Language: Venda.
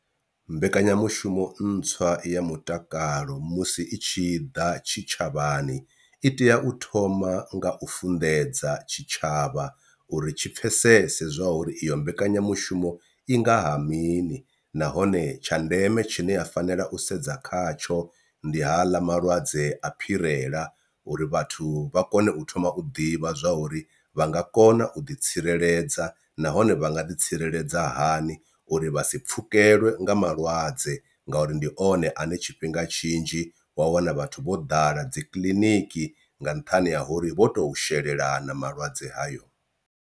Mbekanyamushumo ntswa ya mutakalo musi i tshi ḓa tshitshavhani i tea u thoma nga u funḓedza tshitshavha uri tshi pfhesesa zwa uri iyo mbekanyamushumo i ngaha mini, nahone tsha ndeme tshine ya fanela u sedza khatsho ndi haḽa malwadze a phirela uri vhathu vha kone u thoma u ḓivha zwa uri vha nga kona u ḓi tsireledza nahone vha nga ḓi tsireledza hani uri vha si pfhukelwe nga malwadze ngauri ndi one ane tshifhinga tshinzhi wa wana vhathu vho ḓala dzikiḽiniki nga nṱhani ha uri vho to shelelana malwadze hayo.